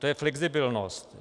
Tou je flexibilnost.